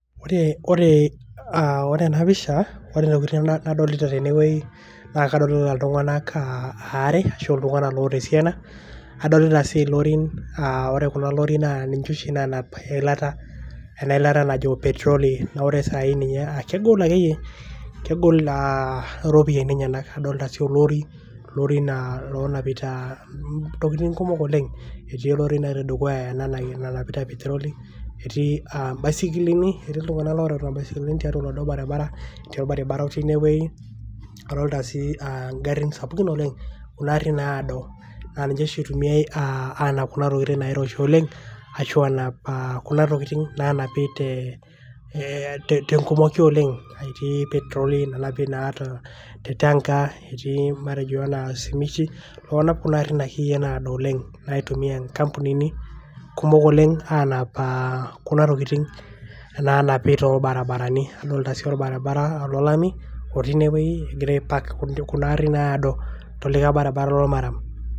ore ena pisha, kadolita iltunganak aare, oltunganak oota esiana. adolita sii ilorin. ore kulo lorin ninche oshi loonap eilata, najo petroli, ore saai ake kegol akeyie iropiyiani enyenak, adol itasho lorin loonapita ntokitin kumok oleng. etii erori natii dukuya nanapita peteroli, etii baisikilini, etii iltunganak, looreuta ibaiskilini tiatua oladuoo baribara, adolta garin sapukin oleng. naitumiae aanap intokitin nairoshi oleng. kitumiya nkampunini kumok oleng aanap, kuna tokitin naa napi tolbaribarani, adolta sii olbaribara lormaram.